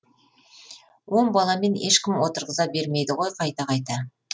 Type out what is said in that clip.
он баламен ешкім отырғыза бермейді ғой қайта қайта